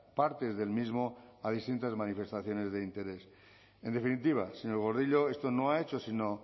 partes del mismo a distintas manifestaciones de interés en definitiva señor gordillo esto no ha hecho sino